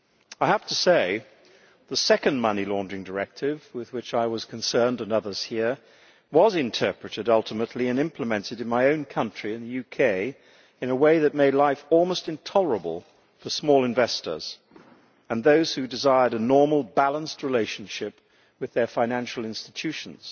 I have to say that the second Anti-Money Laundering Directive with which I and others here were concerned was interpreted ultimately and implemented in my own country, in the UK, in a way that made life almost intolerable for small investors and those who desired a normal, balanced relationship with their financial institutions.